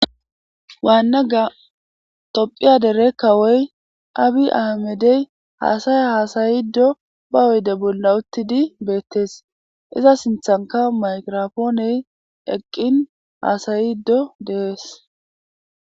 waannaga tophphiya dere kawoy abi ahamedey haasaya haasayiddo ba oyde bolla uttidi beettees iza sinthanka mayirafooney eqqin haasayiddo deees